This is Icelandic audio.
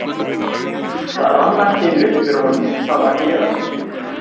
Það rann allt í einu upp fyrir honum hvað var að gerast.